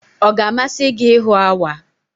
Ọ ga-amasị gị ịhụ awa?